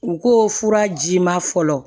U ko furaji ma fɔlɔ